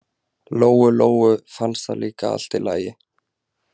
Lóu-Lóu fannst það líka allt í lagi.